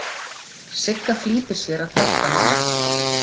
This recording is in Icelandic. Sigga flýtir sér að hjálpa henni.